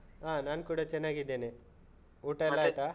ಹ ನಾನ್ ಕೂಡ ಚೆನ್ನಾಗಿದ್ದೇನೆ. ಊಟ ಆಯ್ತಾ?